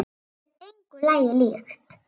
Þetta er engu lagi líkt.